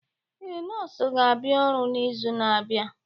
Ee, nọọsụ ga-abịa ọrụ n'izu na-abịa.